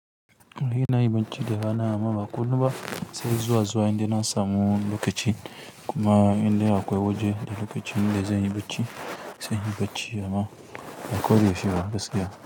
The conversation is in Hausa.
Ina yin bacci da rana amma ba kullum ba, sai zuwa zuwa inda na samu lokaci kuma inde akwai waje da lokaci na da zan yi bacci, zan yi bacci amma ko bai ishe ni ba gaskiya.